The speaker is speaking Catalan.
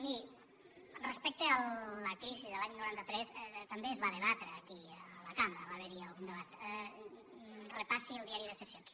miri respecte a la crisi de l’any noranta tres també es va debatre aquí a la cambra va haver hi algun debat repassi el diari de sessions